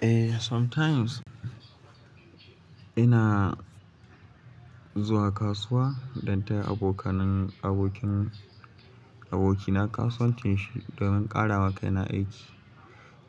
Eh, sometimes ina zuwa kasuwa dan taya abokanan abokin aboki na kasuwanci don ƙara ma kai na aiki.